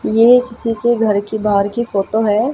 ये किसी के घर के बाहर की फोटो है।